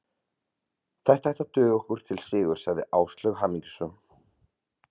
Þetta ætti að duga okkur til sigurs sagði Áslaug hamingjusöm.